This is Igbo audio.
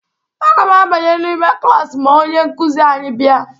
Aga m abanye n'ime klaasị ma onye nkuzi anyị bịa.